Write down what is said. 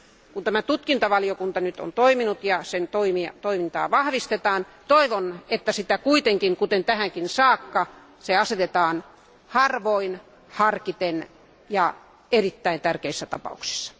Kun tämä tutkintavaliokunta nyt on olemassa ja sen toimintaa vahvistetaan, toivon, että sitä kuitenkin kuten tähänkin saakka käytetään harvoin, harkiten ja vain erittäin tärkeissä tapauksissa.